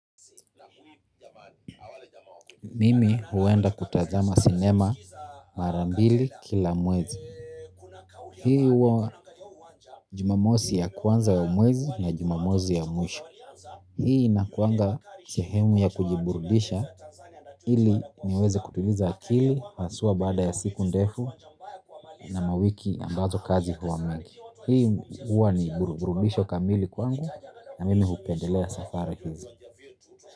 Mimi huenda kutazama sinema mara mbili kila mwezi. Hii huwa jumamosi ya kwanza ya mwezi na jumamosi ya mwisho. Hii inakuanga sehemu ya kujiburudisha. Hili niweze kutuliza akili, sua bada ya siku ndefu na mawiki ambazo kazi huwa mengi. Hii huwa ni burububisho kamili kwangu na mimi hupendelea safari kizi.